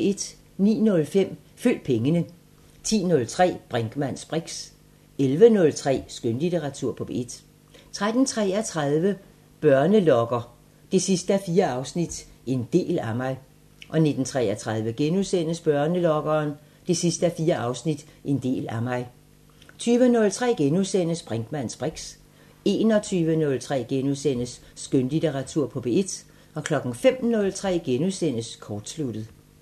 09:05: Følg pengene 10:03: Brinkmanns briks 11:03: Skønlitteratur på P1 13:33: Børnelokkeren 4:4 – En del af mig 19:33: Børnelokkeren 4:4 – En del af mig * 20:03: Brinkmanns briks * 21:03: Skønlitteratur på P1 * 05:03: Kortsluttet *